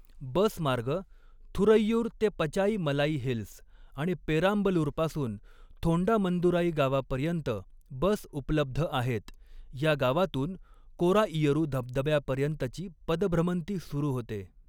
बस मार्ग थुरैयूर ते पचाईमलाई हिल्स आणि पेराम्बलुरपासून थोंडामंदुराई गावापर्यंत बस उप्लब्ध आहेत. या गावातून कोराइयरू धबधब्यापर्यंतची पदभ्रमंती सुरु होते.